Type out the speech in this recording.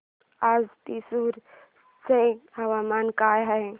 आज थ्रिसुर चे हवामान काय आहे